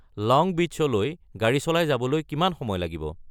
লং বীচ্‌লৈ গাড়ী চলাই যাবলৈ কিমান সময় লাগিব